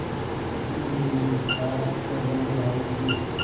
फिर निर्विकार स्वर में राय दी